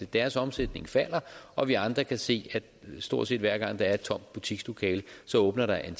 deres omsætning falder og vi andre kan se at stort set hver gang der er et tomt butikslokale åbner der en